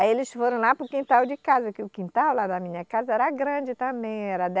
Aí eles foram lá para o quintal de casa, que o quintal lá da minha casa era grande também. era